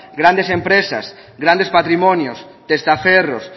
grandes empresas grandes patrimonios testaferros